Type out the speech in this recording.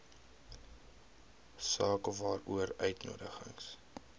saak waaroor uitnodigings